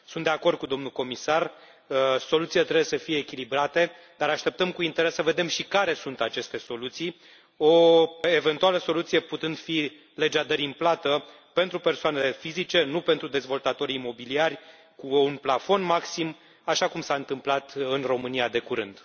Sunt de acord cu domnul comisar, soluțiile trebuie să fie echilibrate, dar așteptăm cu interes să vedem și care sunt aceste soluții, o eventuală soluție putând fi legea dării în plată pentru persoanele fizice, nu pentru dezvoltatorii imobiliari, cu un plafon maxim, așa cum s a întâmplat în România de curând.